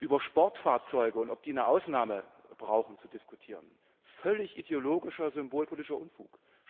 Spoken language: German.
Über Sportfahrzeuge und darüber, ob diese eine Ausnahme brauchen, zu diskutieren völlig ideologischer symbolpolitischer Unfug.